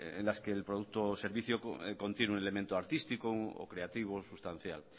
en las que el producto servicio contiene un elemento artístico o creativo sustancial